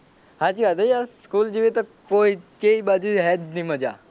સાચી વાત હો યાર સ્કૂલ જેવી તો કોઈ ચાઇ બાજુ હે જ નહીં મજા.